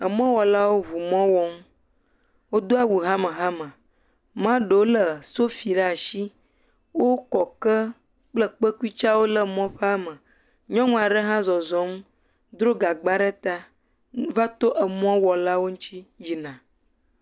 Emɔwɔlawo ŋu mɔ wɔm. Wodo awu hamehame, mea ɖewo lé sofi ɖe asi, wokɔ ke kple kpekui tsɛ ɖe emɔa me. Nyɔnu aɖe hã zɔzɔm, dro gagba ɖe ta va to emɔwɔlawo ŋuti yina.